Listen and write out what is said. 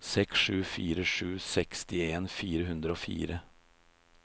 seks sju fire sju sekstien fire hundre og fire